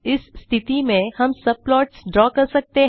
इस स्थिति में हम सब प्लॉट्स ड्रा कर सकते हैं